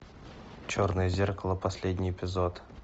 черное зеркало последний эпизод